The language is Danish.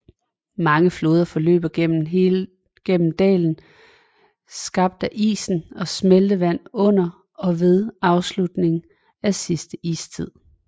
Mange floder forløber gennem dale skab af isen og smeltevand under og ved afslutningen af sidste istid